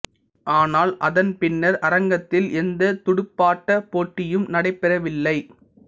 ஆனால் அதன் பின்னர் அரங்கத்தில் எந்த துடுப்பாட்ட போட்டியும் நடைபெறவில்லை